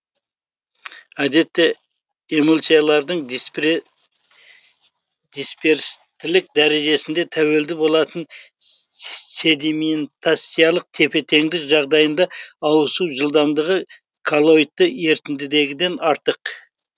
әдетте эмульсиялардың дисперстілік дәрежесіне тәуелді болатын сседи мен тациялық тепе теңдік жағдайындағы ауысу жылдамдығы коллоидты ерітіндідегіден артық